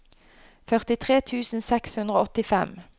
førtitre tusen seks hundre og åttifem